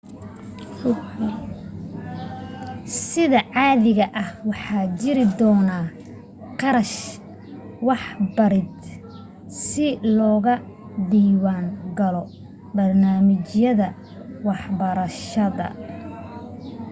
sida caadiga ah waxaa jiri doono kharash waxbarid si loga diiwan galo barnaamijyadan waxbarashadeed